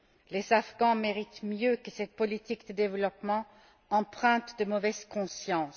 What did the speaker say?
Les Afghans méritent mieux que cette politique de développement empreinte de mauvaise conscience.